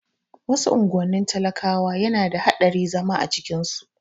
Wasu unguwannin talakawa yana da haɗari zama a cikin su